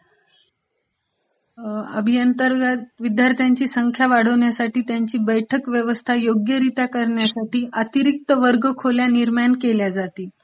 अभिअंतर्गत विद्यर्थ्यांची संख्या वाढवण्यासाठी त्यांची बैठक व्यवस्था योग्यरित्या करण्य़ासाठी अतिरिक्त वर्ग खोल्या निर्माण केल्या जातील.